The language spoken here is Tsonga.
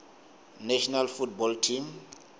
national football team